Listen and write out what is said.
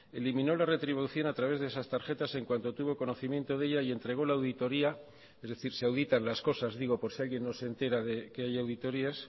eliminó la retribución a través de esas tarjetas en cuanto tuvo conocimiento de ella y entregó la auditoría es decir se auditan las cosas digo por si alguien no se entera de que hay auditorías